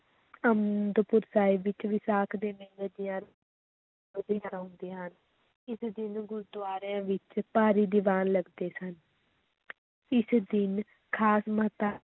ਅਨੰਦਪੁਰ ਸਾਹਿਬ ਵਿੱਚ ਵਿਸਾਖ ਦੇ ਮੇਲੇ ਦੀਆਂ ਹੁੰਦੀਆਂ ਹਨ, ਇਸ ਦਿਨ ਗੁਰਦੁਆਰਿਆਂ ਵਿਚ ਭਾਰੀ ਦੀਵਾਨ ਲਗਦੇ ਸਨ ਇਸ ਦਿਨ ਖ਼ਾਸ